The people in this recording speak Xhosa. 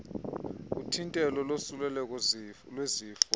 uthintelo losuleleko lwezifo